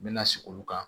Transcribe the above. N bɛna sigi olu kan